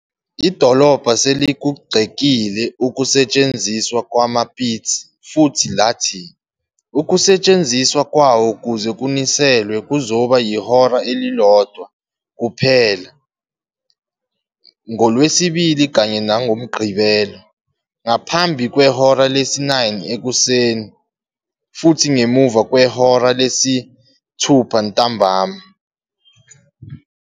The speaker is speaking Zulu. Idolobha selikugxekile ukusetshenziswa kwamapitsi futhi lathi ukusetshenziswa kwawo ukuze kuniselwe kuzoba ihora elilodwa kuphela ngoLwesibili kanye nangoMgqibelo, ngaphambi kwehora lesi-9 ekuseni futhi ngemuva kwehora lesi-6 ntambama.